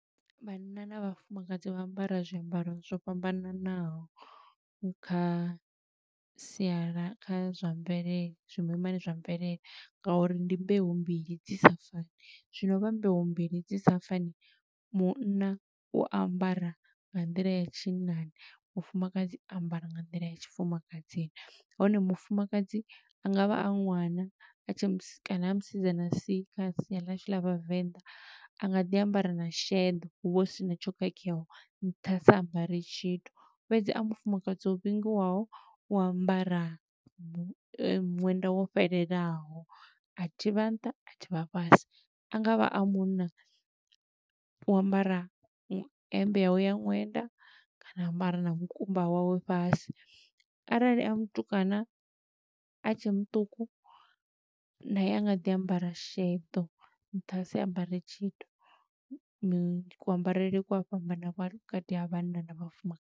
Vhanna na vhafumakadzi vha ambara zwiambaro zwo fhambananaho kha siala kha zwa mvelele zwimimani zwa mvelele nga uri ndi mbeu mbili dzi sa fani, zwino vha mbeu mbili dzi sa fani, munna u ambara nga nḓila ya tshinnani, mufumakadzi a ambara nga nḓila ya tshifumakadzini. Hone mufumakadzi a ngavha a ṅwana, a tshe kana a musidzana si, kha sia ḽashu ḽa Vhavenḓa, a nga ḓi ambara na sheḓo. Huvha hu sina tsho khakheaho, nṱha a sa ambare tshithu. Fhedzi, a mufumakadzi o vhingiwaho, u ambara ṅwenda wo fhelelaho, a thivha nṱha a thivha fhasi. A ngavha a munna, u ambara hemmbe yawe ya ṅwenda, kana a ambara na mukumba wawe fhasi. Arali a mutukana a tshe muṱuku, naye a nga ḓi ambara sheḓo, nṱha a si ambare tshithu. Ku ambarele ku a fhambana vhukati ha vhanna na vhafuma.